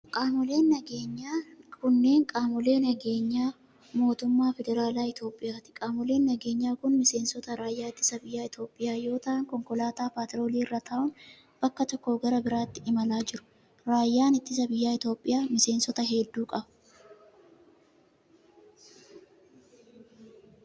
Qaamoleen nageenyaa kunneen, qaamolee nageenyaa mootummaa federaalaa Itoophiyaati. Qaamoleen nageenyaa ku, miseensota raayyaa ittisa biyyaa Itoophiyaa yoo ta'an, konkolaataa paatroolii irra taa'un bakka tokkoo gara bakka biraatti imalaa jiru. Raayyaan Ittisa biyyaa Itoophiyaa, miseensota hedduu qaba.